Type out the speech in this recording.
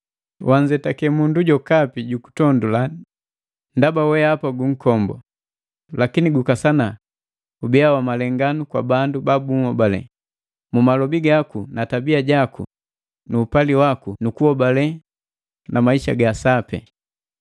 Wijetake mundu jokapi jugutondula ndaba wehapa gunkombu, lakini gukasana gubiya gu malenganu kwa bandu baahobale: Mu malobi gaku na tabiya jaku nu upali nu kuhobale na maisa ga sapi.